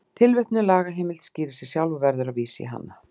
Tilvitnuð lagaheimild skýrir sig sjálf og verður að vísa í hana.